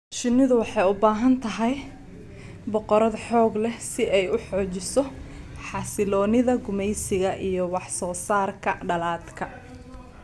Shinnidu waxay u baahan tahay boqorad xoog leh si ay u xoojiso xasiloonida gumaysiga iyo wax soo saarka dhaladka.